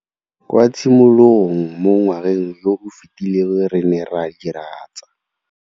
Kwa tshimologong mo ngwageng yo o fetileng re ne ra diragatsa.